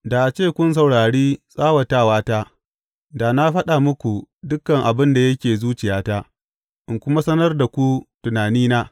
Da a ce kun saurari tsawatata, da na faɗa muku dukan abin da yake zuciyata in kuma sanar da ku tunanina.